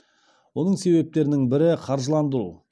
оның себептерінің бірі қаржыландыру